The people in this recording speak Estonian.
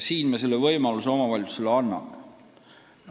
Nüüd me selle võimaluse omavalitsusele anname.